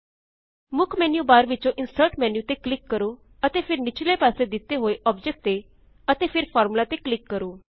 ਮੁੱਖ menu bar ਵਿੱਚੋ insert menu ਤੇ ਕਲਿਕ ਕਰੋ ਅਤੇ ਫ਼ੇਰ ਨਿਚਲੇ ਪਾਸੇ ਦਿੱਤੇ ਹੋਏ ਆਬਜੈਕਟ ਤੇ ਅਤੇ ਫ਼ੇਰ ਫਾਰਮੂਲਾ ਤੇ ਕ੍ਲਿਕ ਕਰੋ